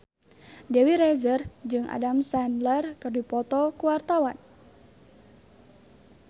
Dewi Rezer jeung Adam Sandler keur dipoto ku wartawan